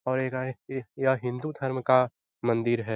और इ यह हिन्दू धर्म का मंदिर है।